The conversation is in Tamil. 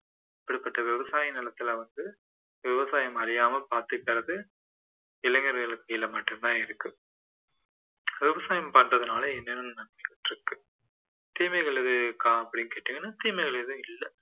அப்படிப்பட்ட விவசாய நிலத்தில வந்து விவசாயம் அழியாமல் பார்த்துக்கிறது இளைஞர்கள் கையில மட்டும்தான் இருக்கு விவசாயம் பண்றதுனால என்னென்ன நன்மைகள் இருக்கு தீமைகள் ஏதும் இருக்கா அப்படின்னு கேட்டீங்கன்னா தீமைகள் ஏதும் இல்லை